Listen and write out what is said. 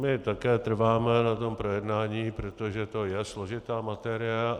My také trváme na tom projednání, protože to je složitá materie.